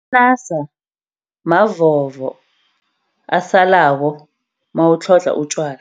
Amanasa mavovo asalako mawutlhodlha utjwala.